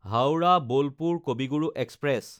হাওৰা–বোলপুৰ কবি গুৰু এক্সপ্ৰেছ